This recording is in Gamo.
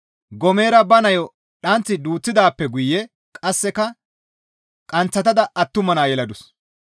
Goomera ba nayo dhanththi duuththidaappe guye qasseka qanththatada attuma naa yeladus.